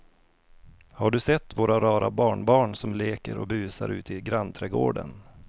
Har du sett våra rara barnbarn som leker och busar ute i grannträdgården!